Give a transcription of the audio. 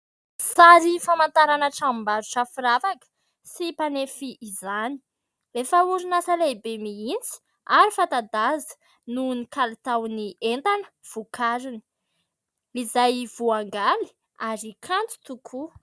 Sary famantarana tranom-barotra firavaka sy mpanefy izany, efa orinasa lehibe mihitsy ary fanta-daza noho ny kalitaon'ny entana vokariny, izay voangaly ary kanto tokoa.